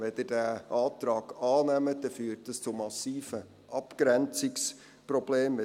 Wenn Sie diesen Antrag annehmen, dann führt dies zu massiven Abgrenzungsproblemen.